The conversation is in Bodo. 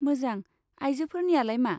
मोजां, आइजोफोरनियालाय मा?